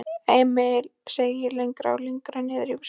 Emil seig lengra og lengra niðrí sætið.